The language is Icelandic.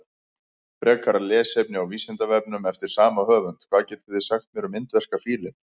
Frekara lesefni á Vísindavefnum eftir sama höfund: Hvað getið þið sagt mér um indverska fílinn?